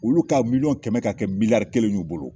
Olu ka mimiyɔn kɛmɛ ka kɛ miliyari kelen y'u bolo